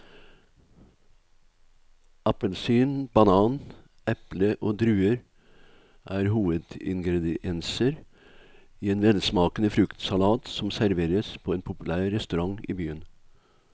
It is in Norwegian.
Appelsin, banan, eple og druer er hovedingredienser i en velsmakende fruktsalat som serveres på en populær restaurant i byen.